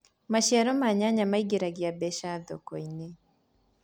maciaro ma nyanya maĩngiragia mbeca thoko-inĩ